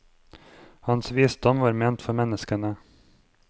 Hans visdom var ment for menneskene.